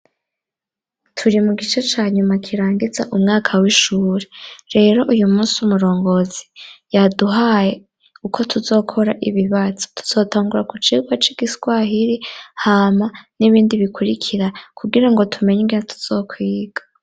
Turi mu gice ca nyuma kirangiza umwaka w'ishure. Rero uyu musi umurongozi yaduhaye uko tuzokora ibibazo. Tuzotangura ku cigwa c'igiswahiri, hama n'ibindi bikurikira kugira ngo tumenye ingene tuzokwiga.